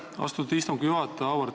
Aitäh, austatud istungi juhataja!